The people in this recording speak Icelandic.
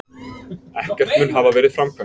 Ekkert mun hafa verið framkvæmt